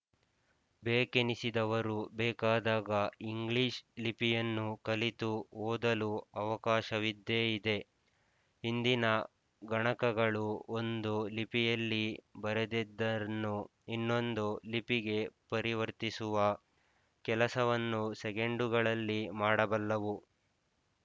ಬೇಕೆನಿಸಿದವರು ಬೇಕಾದಾಗ ಇಂಗ್ಲಿಶ್ ಲಿಪಿಯನ್ನು ಕಲಿತು ಓದಲು ಅವಕಾಶವಿದ್ದೇ ಇದೆ ಇಂದಿನ ಗಣಕಗಳು ಒಂದು ಲಿಪಿಯಲ್ಲಿ ಬರೆದದ್ದನ್ನು ಇನ್ನೊಂದು ಲಿಪಿಗೆ ಪರಿವರ್ತಿಸುವ ಕೆಲಸವನ್ನು ಸೆಕೆಂಡುಗಳಲ್ಲಿ ಮಾಡಬಲ್ಲವು